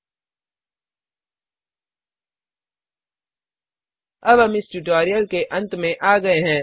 httpspoken tutorialorgNMEICT Intro अब हम इस ट्यूटोरियल के अंत में आ गये हैं